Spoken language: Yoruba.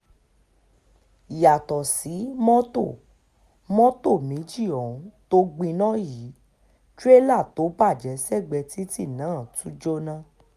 yàtọ̀ sí mọ́tò mọ́tò méjì ohun tó gbiná yìí tirẹ̀là tó bàjẹ́ sẹ́gbẹ̀ẹ́ títì náà tún jóná